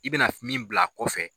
I bɛna min bila a kɔfɛ.